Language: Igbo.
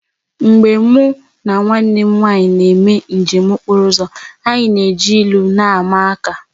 Mgbe mụ na nwanne m nwaanyị na-eme njem okpọro ụzọ anyị na-eji ilu na-ama aka